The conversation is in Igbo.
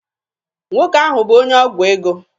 Nwoke ahụ bụ onye ọgwụ ego.